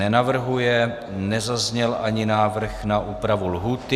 Nenavrhuje, nezazněl ani návrh na úpravu lhůty.